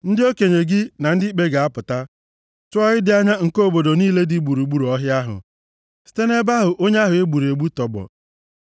ndị okenye gị, na ndị ikpe ga-apụta, tụọ ịdị anya nke obodo niile dị gburugburu ọhịa ahụ, site nʼebe ahụ onye ahụ e gburu egbu tọgbọ.